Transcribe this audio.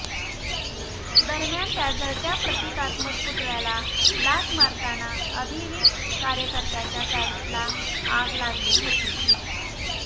दरम्यान या जळत्या प्रतिकात्मक पुतळ्याला लाथ मारताना अभाविप कार्यकर्त्याच्या पॅन्टला आग लागली होती